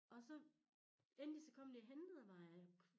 Og så endelig så kom de og hentede mig